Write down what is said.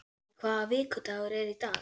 Millý, hvaða vikudagur er í dag?